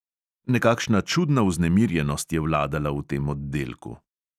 Nekakšna čudna vznemirjenost je vladala v tem oddelku.